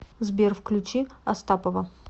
сбер включи астапова